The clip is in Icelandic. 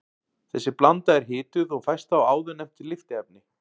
Þessi blanda er hituð og fæst þá áðurnefnt lyftiefni.